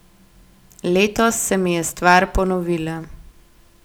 Letos se mi je stvar ponovila.